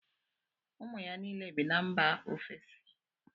Ụmụ ya niile bi mba ofesi